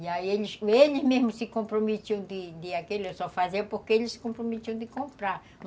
E aí, eles mesmos se comprometiam de de aquilo, eu só fazia porque eles se comprometiam de comprar.